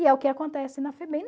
E é o que acontece na Febem.